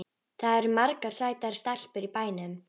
Það eru margar sætar stelpur í bænum.